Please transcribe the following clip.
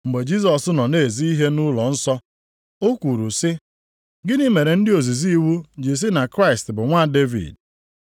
Mgbe Jisọs nọ na-ezi ihe nʼụlọnsọ, ọ kwuru sị, “Gịnị mere ndị ozizi iwu ji sị na Kraịst bụ nwa Devid?